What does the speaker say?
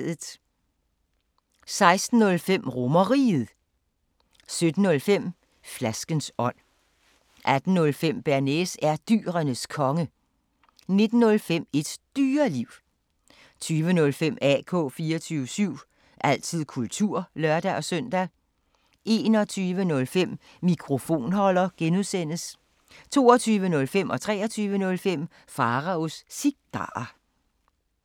16:05: RomerRiget 17:05: Flaskens ånd 18:05: Bearnaise er Dyrenes Konge 19:05: Et Dyreliv 20:05: AK 24syv – altid kultur (lør-søn) 21:05: Mikrofonholder (G) 22:05: Pharaos Cigarer 23:05: Pharaos Cigarer